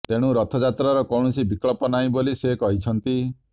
ତେଣୁ ରଥଯାତ୍ରାର କୌଣସି ବିକଳ୍ପ ନାହିଁ ବୋଲି ସେ କହିଛନ୍ତି